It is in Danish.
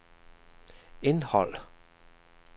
indholdet